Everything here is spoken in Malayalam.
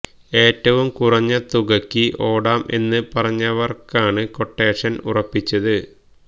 ഏറ്റവും കുറഞ്ഞ തുകയ്ക്ക് ഓടാം എന്ന് പറഞ്ഞവർക്കാണ് ക്വട്ടേഷൻ ഉറപ്പിച്ചത്